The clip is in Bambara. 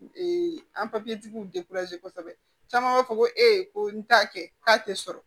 an tigiw kosɛbɛ caman b'a fɔ ko e ko n t'a kɛ k'a tɛ sɔrɔ